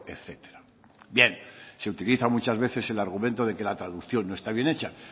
etcétera bien se utiliza muchas veces el argumento de que la traducción no está bien hecha